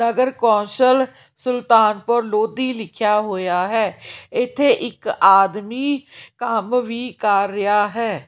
ਨਗਰ council Sultanpur Lodhi ਲਿਖਿਆ ਹੋਇਆ ਹੈ ਇਥੇ ਇੱਕ ਆਦਮੀ ਕੰਮ ਵੀ ਕਰ ਰਿਹਾ ਹੈ।